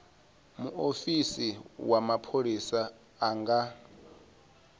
muofisi wa mapholisa a nga